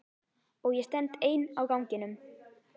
Og ég stend ein á ganginum.